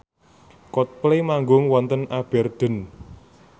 Coldplay manggung wonten Aberdeen